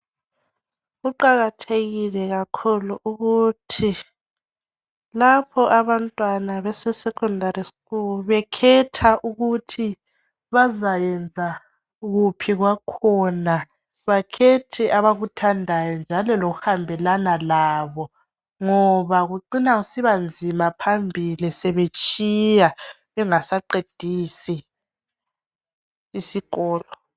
Kuqakathekile kakhulu ukuthi lapho abantwana bese Secondary school bekhetha ukuthi bazayenza ukuphi kwakhona bakhethe abakuthandayo njalo lokuhambelana labo ngoha kucina kusibanzima phambili sebetshiya bengasaqedisi isikolo